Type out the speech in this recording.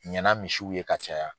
Ɲana misiw ye ka caya.